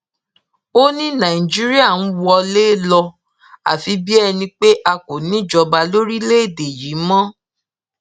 ó ní nigeria ń wọlé lọ àfi bíi ẹni pé a kò níjọba lórílẹèdè yìí mọ